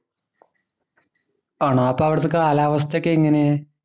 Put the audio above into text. ആണോ? അപ്പൊ അവിടുത്തെ കാലാവസ്ഥ ഒക്കെ എങ്ങനെ?